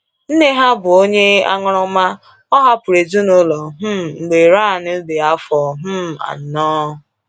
Nna ha bụ onye aṅụrụma, o hapụrụ ezinụlọ um mgbe Ryan dị afọ um anọ.